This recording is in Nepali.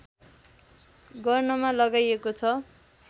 गर्नमा लगाइएको छ